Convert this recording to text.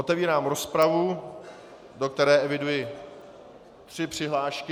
Otevírám rozpravu, do které eviduji tři přihlášky...